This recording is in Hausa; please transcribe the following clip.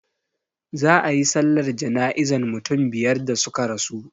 Za a yi sallar jana'izan mutum biyar da suka rasu,